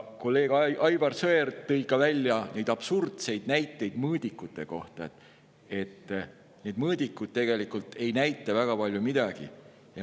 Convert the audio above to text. Kolleeg Aivar Sõerd tõi ka absurdseid näiteid mõõdikute kohta ja ütles, et need mõõdikuid ei näita tegelikult eriti midagi.